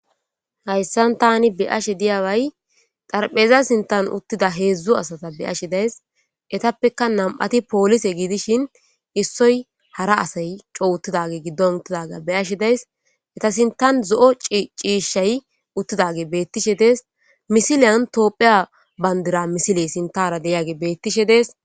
hayssan tani be ashe diyaway darpheza sintan uttida heedzdzu asata be ashe days etappeka nam7ati poolise giidishin issoy hara asay cowuttidage giddon uttidaga be ashe days eta sintan zo7o ciishshay uttidage beettishe dees misiliyan toophiya bandira misile sintara deyage beettishe dees